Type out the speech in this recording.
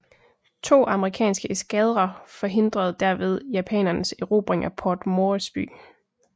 To amerikanske eskadrer forhindrede derved japanernes erobring af Port Moresby